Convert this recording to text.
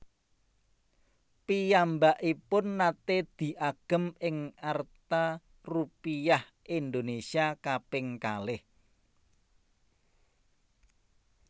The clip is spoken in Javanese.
Piyambakipun naté diagem ing arta Rupiah Indonesia kaping kalih